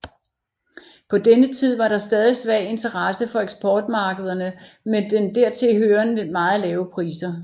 På denne tid var der svag interesse fra eksportmarkederne med dertil hørende meget lave priser